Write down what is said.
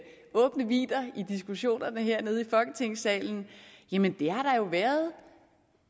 åbne vidder i diskussionerne hernede i folketingssalen jamen det har der jo været